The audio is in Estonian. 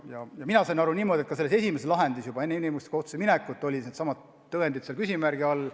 Ja mina sain aru niimoodi, et ka selles esimeses lahendis juba enne inimõiguste kohtusse minekut olid needsamad tõendid küsimärgi all.